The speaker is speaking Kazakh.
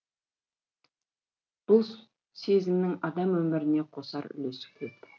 бұл сезімнің адам өміріне қосар үлесі көп